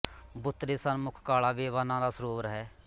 ਬੁੱਤ ਦੇ ਸਨਮੁਖ ਕਾਲ਼ਾ ਵੇਵਾ ਨਾਂਅ ਦਾ ਸਰੋਵਰ ਹੈ